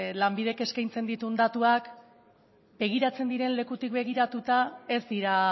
lanbidek eskaintzen dituen datuak begiratzen diren lekutik begiratuta ez dira